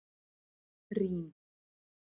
Rín